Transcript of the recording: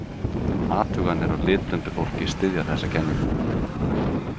Athuganir á litblindu fólki styðja þessa kenningu.